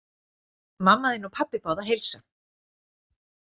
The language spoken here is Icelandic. Mamma þín og pabbi báðu að heilsa.